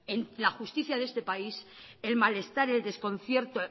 en la justicia de este país el malestar el desconcierto